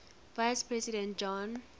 vice president john